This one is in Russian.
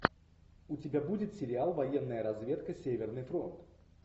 у тебя будет сериал военная разведка северный фронт